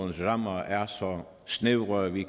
rammer er så snævre at vi